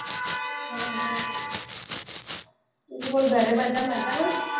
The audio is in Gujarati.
બીજું બોલ ઘરે બધા મજામાં ને?